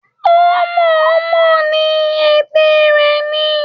Ó mọ̀-ọ́n-mọ̀ ni, ète rẹ ni.